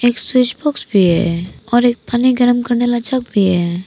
Switch box भी है और एक पानी गरम करने वाला जग भी है।